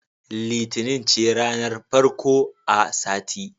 Litinin ce ranar farko a sati.